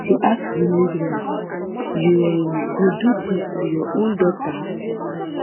she ask di midwives you um go do dis to your own daughter